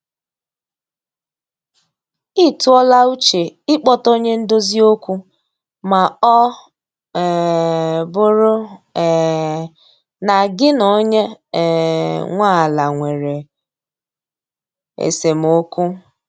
Ị tụọ la uche ị kpọta onye ndozi okwu ma ọ um bụrụ um na gị na onye um nwe ala nwere esemokwu